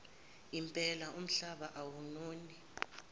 impela umhlaba awunoni